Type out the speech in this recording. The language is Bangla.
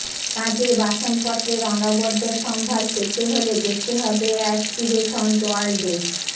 কাচের বাসনপত্রের অনবদ্য সম্ভার পেতে হলে যেতে হবে অ্যাসপিরেশনজ ওয়ার্ল্ডে